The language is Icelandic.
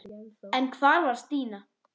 En hvar var Stína?